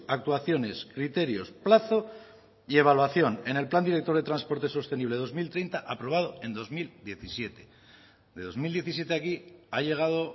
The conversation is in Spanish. actuaciones criterios plazo y evaluación en el plan director de transporte sostenible dos mil treinta aprobado en dos mil diecisiete de dos mil diecisiete a aquí ha llegado